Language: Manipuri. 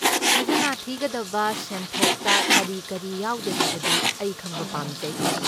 ꯈꯖꯅꯥ ꯊꯤꯒꯗꯕ ꯁꯦꯟꯊꯣꯛꯇ ꯀꯔꯤ ꯀꯔꯤ ꯌꯥꯎꯗꯦ ꯍꯥꯏꯕꯗꯨ ꯑꯩ ꯈꯪꯕ ꯄꯥꯝꯖꯩ꯫